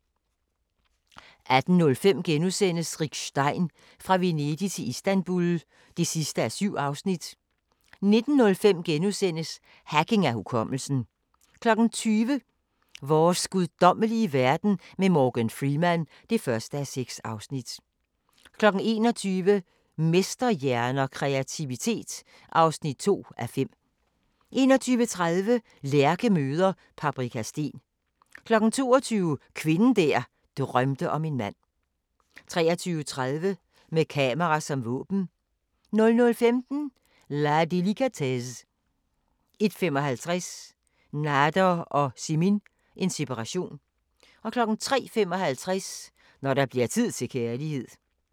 18:05: Rick Stein – Fra Venedig til Istanbul (7:7)* 19:05: Hacking af hukommelsen * 20:00: Vores guddommelige verden med Morgan Freeman (1:6) 21:00: Mesterhjerner – Kreativitet (2:5) 21:30: Lærke møder Paprika Steen 22:00: Kvinden der drømte om en mand 23:30: Med kamera som våben 00:15: La délicatesse 01:55: Nader og Simin – en separation 03:55: Når der bliver tid til kærlighed